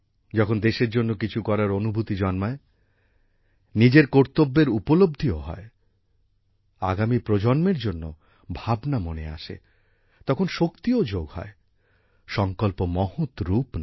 যখন দেশের জন্য কিছু করার অনুভূতি জন্মায় নিজের কর্তব্যের উপলব্ধিও হয় আগামী প্রজন্মের জন্য ভাবনা মনে আসে তখন শক্তিও যোগ হয় সংকল্প মহৎ রূপ নেয়